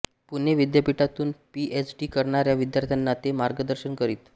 पुणे विद्यापीठातून PhD करणाऱ्या विद्यार्थ्यांना ते मार्गदर्शन करीत